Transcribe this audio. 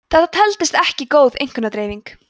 þetta teldist ekki góð einkunnadreifing